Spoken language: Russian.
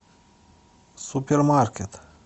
супермаркет